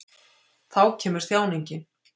Þá kemur þjáningin.